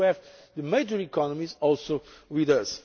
effort. We also need to have the major economies